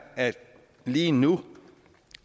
at det lige nu